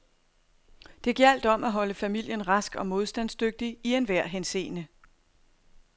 Det gjaldt om at holde familien rask og modstandsdygtig i en enhver henseende.